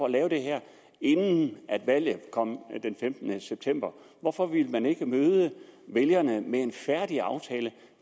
at lave det her inden valget kom den femtende september hvorfor ville man ikke møde vælgerne med en færdig aftale